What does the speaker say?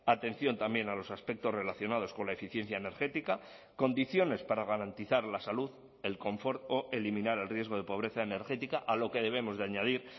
atención también a los aspectos relacionados con la eficiencia energética condiciones para garantizar la salud el confort o eliminar el riesgo de pobreza energética a lo que debemos de añadir